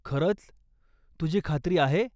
खरंच, तुझी खात्री आहे ?